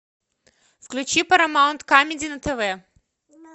включи парамаунт камеди на тв